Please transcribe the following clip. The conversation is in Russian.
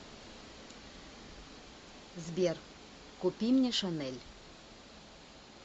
сбер купи мне шанель